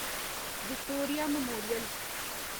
Victoria memorial